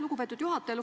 Lugupeetud juhataja!